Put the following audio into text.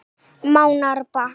Mánárbakka